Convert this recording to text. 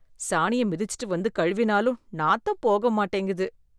சாணிய மிதிச்சுட்டு வந்து கழுவினாலும் நாத்தம் போக மாட்டேங்குது.